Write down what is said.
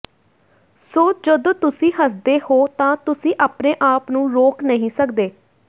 ਸੋ ਜਦੋਂ ਤੁਸੀਂ ਹੱਸਦੇ ਹੋ ਤਾਂ ਤੁਸੀਂ ਆਪਣੇ ਆਪ ਨੂੰ ਰੋਕ ਨਹੀਂ ਸਕਦੇ